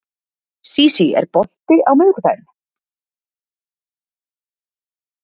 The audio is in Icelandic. Sísí, er bolti á miðvikudaginn?